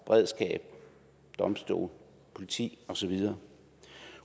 beredskab domstole politi og så videre